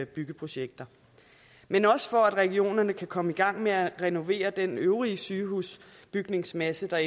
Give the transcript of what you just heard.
byggeprojekter men også for at regionerne kan komme i gang med at renovere den øvrige sygehusbygningsmasse der